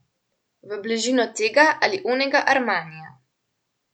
V bližino tega ali onega Armanija.